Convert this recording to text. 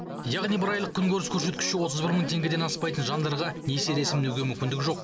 яғни бір айлық күн көріс көрсеткіші отыз бір мың теңгеден аспайтын жандарға несие рәсімдеуге мүмкіндік жоқ